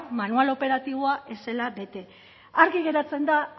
manual operatiboa ez zela bete argi geratzen da